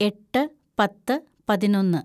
എട്ട് പത്ത് പതിനൊന്ന്‌